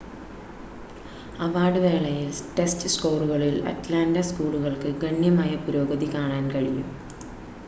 award വേളയിൽ, test സ്കോറുകളിൽ Atlanta സ്ക്കൂളുകൾക്ക് ഗണ്യമായ പുരോഗതി കാണാൻ കഴിഞ്ഞു